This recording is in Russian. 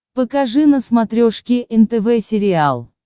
покажи на смотрешке нтв сериал